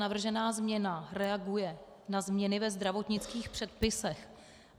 Navržená změna reaguje na změny ve zdravotnických předpisech.